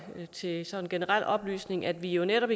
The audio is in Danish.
sige til generel oplysning at vi netop